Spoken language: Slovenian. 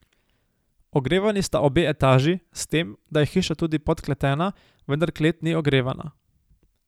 Ogrevani sta obe etaži, s tem, da je hiša tudi podkletena, vendar klet ni ogrevana.